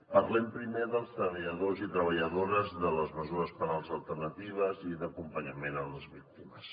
parlem primer dels treballadors i treballadores de les mesures penals alternatives i d’acompanyament a les víctimes